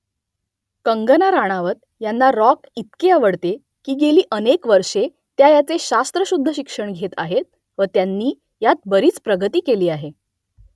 कंगना राणावत यांना रॉक इतके आवडते की गेली अनेक वर्षे त्या याचे शास्त्रशुद्ध शिक्षण घेत आहेत व त्यांनी यात बरीच प्रगती केली आहे